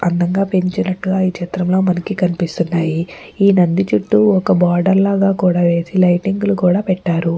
అందంగా పెంచినట్లు మనకి ఈ చిత్రంలో మనకి కనిపిస్తున్నాయి. ఈ నంది చుట్టూ ఒక బార్డర్ లాగా వేసి లైటింగ్ కూడా పెట్టారు.